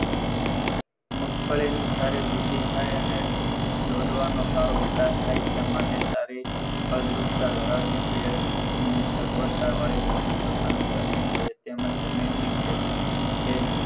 મગફળીની સારી વૃદ્ધિ થાય અને દોડવાનો સારો વિકાસ થાય ત્યાં માટે સારી ફળદ્રુપતા ધરાવતી પ્રયત્નની સગવડતા વાળી જમીન પસંદ કરવી જોઈએ તેમજ જમીનની ખેતી